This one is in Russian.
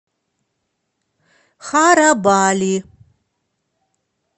харабали